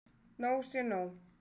Nóg sé nóg!